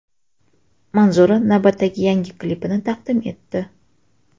Manzura navbatdagi yangi klipini taqdim etdi.